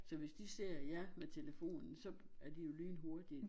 Så hvis de ser jer med telefonen så er de jo lynhurtige